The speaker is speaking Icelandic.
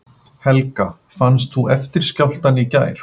Helga: Fannst þú eftirskjálftann í gær?